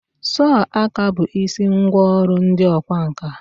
sọọ aka bụ isi ngwa ọrụ ndị ọkwá nkà.